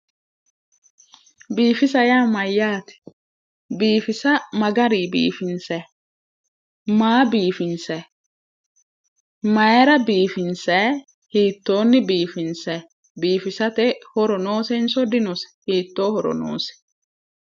Biifisa yaa mayyaate? biifisa ma garinni biifinsayi? maa biifinsayi? maayiira biifinsayi? hiittoonni biifinsayi? biifisate horo noosinso dinosi? hiittoo horo noosi?